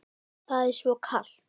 Það er svo kalt.